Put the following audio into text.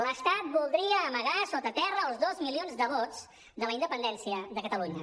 l’estat voldria amagar sota terra els dos milions de vots de la independència de catalunya